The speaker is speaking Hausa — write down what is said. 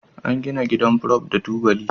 An gina gidan Prof da tubali